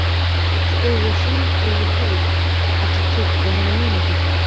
Hrollaugur, hringdu í Hauk eftir tuttugu og eina mínútur.